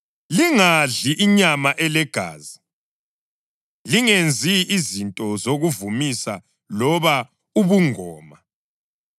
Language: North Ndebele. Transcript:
Lingadli inyama elegazi. Lingenzi izinto zokuvumisa loba ubungoma.